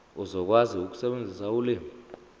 uzokwazi ukusebenzisa ulimi